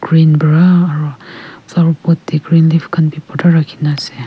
green para aru flower pot teh green leave khan bhi bhorta rakhi na ase.